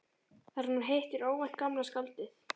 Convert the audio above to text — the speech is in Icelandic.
Þar sem hún hittir óvænt gamla skáldið.